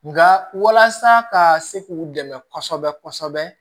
Nka walasa ka se k'u dɛmɛ kosɛbɛ kosɛbɛ